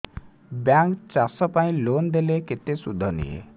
bank ଚାଷ ପାଇଁ loan ଦେଲେ କେତେ ସୁଧ ନିଏ